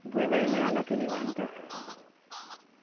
के वेळ मिळाला के निवांत .